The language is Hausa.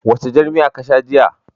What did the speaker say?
Wacce jar miya ka sha jiya?